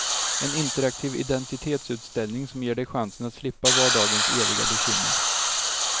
En interaktiv identitetsutställning som ger dig chansen att slippa vardagens eviga bekymmer.